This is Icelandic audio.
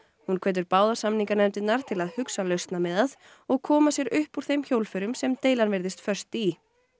hún hvetur báðar samninganefndirnar til að hugsa lausnamiðað og koma sér upp úr þeim hjólförum sem deilan virðist föst í